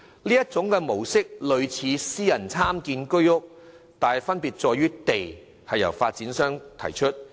這種模式類似私人參建居屋，但分別之處在於土地由發展商提供。